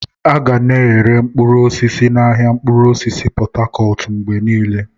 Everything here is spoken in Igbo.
A ga na-ere mkpụrụ osisi n'ahịa mkpụrụ osisi Pot Tarcot mgbe niile.